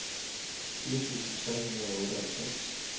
firs tusind tre hundrede og otteoghalvfems